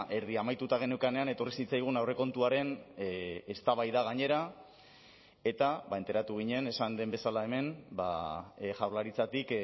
erdi amaituta geneukanean etorri zitzaigun aurrekontuaren eztabaida gainera eta enteratu ginen esan den bezala hemen jaurlaritzatik